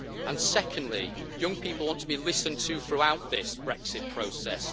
And secondly, young people want to be listened to throughout this Brexit process.